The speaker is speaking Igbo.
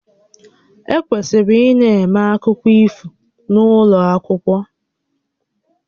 E kwesịrị ịna-eme akụkọ ifo n'ụlọ akwụkwọ